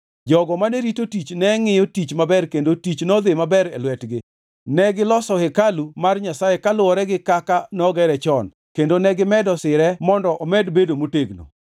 Jogo mane rito tich ne ngʼiyo tich maber kendo tich nodhi maber e lwetgi. Negiloso hekalu mar Nyasaye kaluwore gi kaka nogere chon kendo negimedo sire mondo omed bedo motegno.